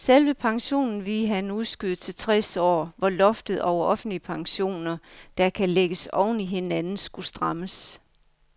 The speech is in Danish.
Selve pensionen ville han udskyde til tres år, hvor loftet over offentlige pensioner, der kan lægges oven i hinanden, skulle strammes.